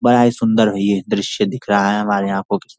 बड़ा ही सुंदर ये दृश्य दिख रहा है हमारे आँखों के सा --